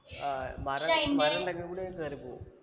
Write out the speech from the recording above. ആ മരം മരം ഇണ്ടെങ്കിൽ കൂടി കേറിപ്പോവും